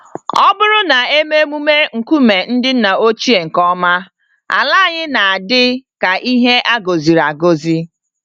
Ọbụrụ na eme emume nkume ndị nna ochie nke ọma, ala anyị na-adị ka ihe agọziri-agọzi